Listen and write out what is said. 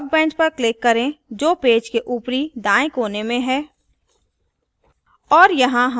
workbench पर click करें जो पेज के ऊपरी दाएँ कोने में है